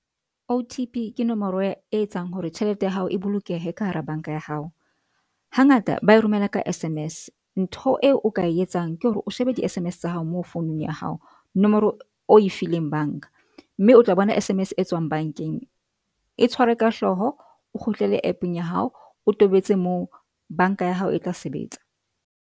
O_T_P ke nomoro e etsang hore tjhelete ya hao e bolokehe ka hara bank-a ya hao. Hangata ba e romela ka S_M_S. Ntho eo o ka e etsang ke hore o shebe di-S_M_S tsa hao moo founung ya hao nomoro o e fileng bank-a. Mme o tla bona S_M_S e tswang bank-eng e tshware ka hloho. O kgutlele app-eng ya hao o tobetse moo. Bank-a ya hao e tla sebetsa.